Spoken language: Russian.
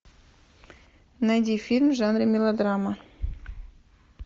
найди фильм в жанре мелодрама